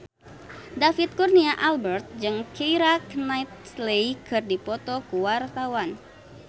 David Kurnia Albert jeung Keira Knightley keur dipoto ku wartawan